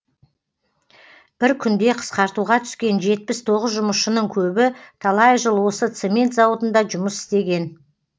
бір күнде қысқартуға түскен жетпіс тоғыз жұмысшының көбі талай жыл осы цемент зауытында жұмыс істеген